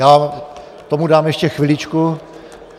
Já tomu dám ještě chviličku.